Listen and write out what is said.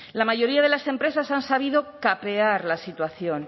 la mayoría de las empresas han sabido capear la situación